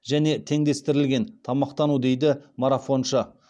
және теңдестірілген тамақтану дейді марафоншы